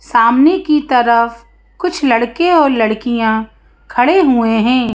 सामने की तरफ कुछ लड़के और लड़कियां खड़े हुए हैं।